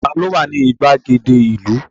Ta ló wà ní ìgbàgede ìlú?